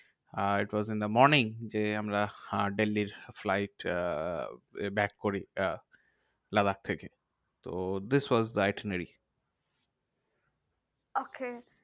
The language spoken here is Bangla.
R it was in the morning যে আমরা আহ দিল্লীর flight আহ back করি আহ লাদাখ থেকে। তো this was the itinerary. okay